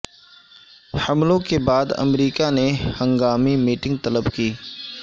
حملوں کے بعد امریکہ نے ہنگامی میٹنگ طلب کی